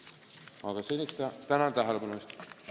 Aga seniks tänan tähelepanu eest!